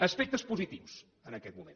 aspectes positius en aquest moment